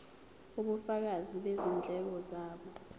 ubufakazi bezindleko zabo